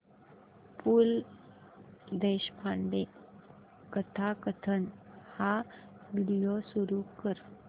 पु ल देशपांडे कथाकथन हा व्हिडिओ सुरू कर